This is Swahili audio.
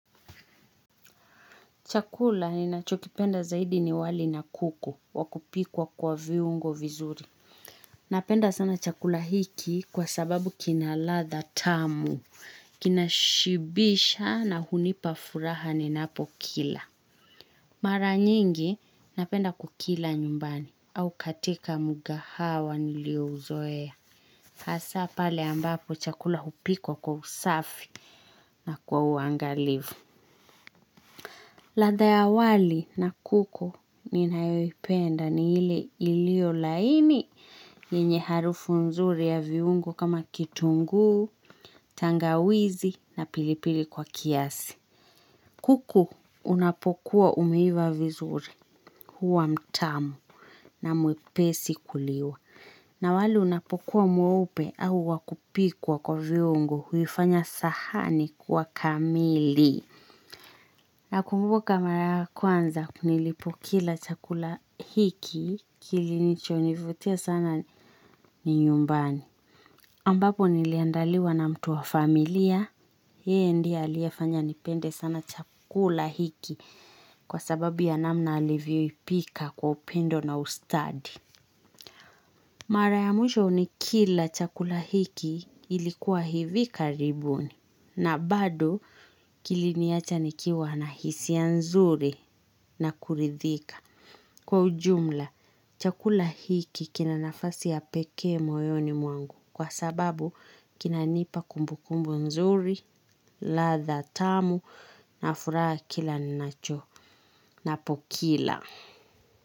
Chakula ninachokipenda zaidi ni wali na kuku wakupikwa kwa viungo vizuri. Napenda sana chakula hiki kwa sababu kina ladha tamu, kinashibisha na hunipa furaha ni napokila. Mara nyingi napenda kukila nyumbani au katika mgahawa niliouzoea. Hasa pale ambapo chakula hupikwa kwa usafi na kwa uangalifu. Ladha ya wali na kuku ninayoipenda ni ile ilio laini nyenye harufu nzuri ya viungo kama kitungu, tangawizi na pilipili kwa kiasi. Kuku unapokuwa umeiva vizuri huwa mtamu na mwepesi kuliwa. Na wali unapokuwa mweupe au wakupikwa kwa viungu huifanya sahani kwa kamili. Nakumbuka mara kwanza nilipokila chakula hiki kilichonivutia sana ni nyumbani. Ambapo niliandaliwa na mtu wa familia, yeye ndiye aliyefanya nipende sana chakula hiki kwasababu ya namna alivyoipika kwa upendo na ustadi. Mara ya mwisho ni kila chakula hiki ilikuwa hivi karibuni na bado kiliniacha nikiwa na hisia nzuri na kuridhika. Kwa ujumla, chakula hiki kina nafasi ya pekee moyoni mwangu kwasababu kinanipa kumbu kumbu nzuri, ladha tamu na furaha kilanapokila.